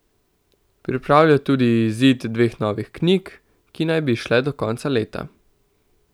Pripravlja tudi izid dveh novih knjig, ki naj bi izšle do konca leta.